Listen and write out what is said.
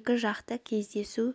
екіжақты кездесу